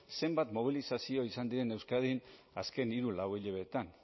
zenbat mobilizazio izan diren euskadin azken hiru lau hilabetetan